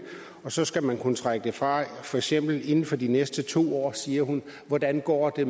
og så skal man kunne trække det fra for eksempel inden for de næste to år siger hun hvordan går det